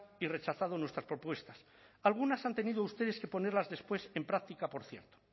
y rechazado nuestras propuestas algunas han tenido ustedes que ponerlas después en práctica por cierto